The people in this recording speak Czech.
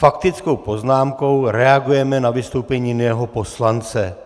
Faktickou poznámkou reagujeme na vystoupení jiného poslance.